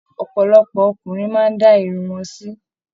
Ọpọlọpọ ọkùnrin máa n da irun wọn sì m